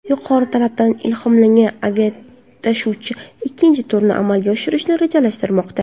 Yuqori talabdan ilhomlangan aviatashuvchi ikkinchi turni amalga oshirishni rejalashtirmoqda.